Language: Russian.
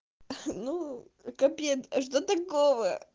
ну капец а что такого